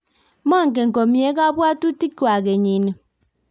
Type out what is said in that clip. mangen komye kabwotutikwak kenyini